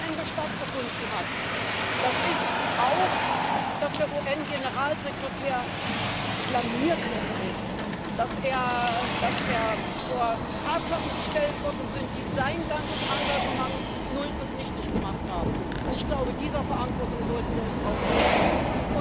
Was am Wochenende stattgefunden hat, das ist auch, dass der UN Generalsekretär blamiert worden ist, dass er vor Tatsachen gestellt worden ist, die sein ganzes Engagement null und nichtig gemacht haben. Ich glaube, dieser Verantwortung sollten wir auch gerecht werden.